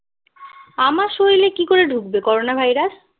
আমার শরীরে কী করে ঢুকবে করোনা ভাইরাস